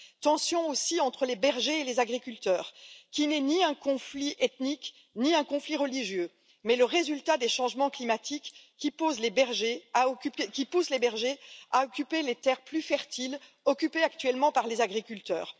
tensions entre les bergers et les agriculteurs, qui n'est ni un conflit ethnique, ni un conflit religieux, mais le résultat des changements climatiques, qui poussent les bergers à occuper les terres plus fertiles, occupées actuellement par les agriculteurs.